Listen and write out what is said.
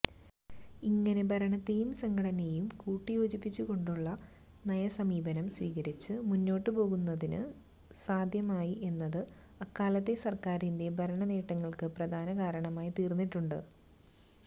ഇങ്ങനെ ഭരണത്തെയും സംഘടനയേയും കൂട്ടിയോജിപ്പിച്ചുകൊണ്ടുള്ള നയസമീപനം സ്വീകരിച്ച് മുന്നാട്ടുപോകുന്നതിന് സാധ്യമായി എന്നത് അക്കാലത്തെ സര്ക്കാരിന്റെ ഭരണനേട്ടങ്ങള്ക്ക് പ്രധാന കാരണമായി തീര്ന്നിട്ടുണ്ട്